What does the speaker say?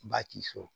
Ba k'i so